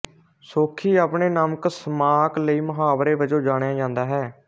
ਸੋਖੀ ਆਪਣੇ ਨਮਕ ਸ਼ਮਾਕ ਲਈ ਮੁਹਾਵਰੇ ਵਜੋਂ ਜਾਣਿਆ ਜਾਂਦਾ ਹੈ